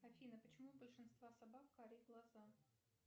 афина почему у большинства собак карие глаза